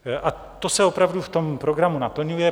A to se opravdu v tom programu naplňuje.